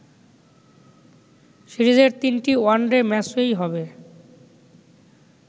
সিরিজের তিনটি ওয়ানডে ম্যাচই হবে